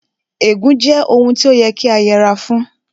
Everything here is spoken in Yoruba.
Ègún jẹ́ ohun tí ó yẹ kí a yẹra fún